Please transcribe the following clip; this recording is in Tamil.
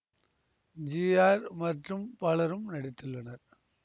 ஜி ஆர் மற்றும் பலரும் நடித்துள்ளனர்